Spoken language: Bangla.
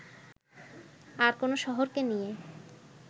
আর কোনো শহরকে নিয়ে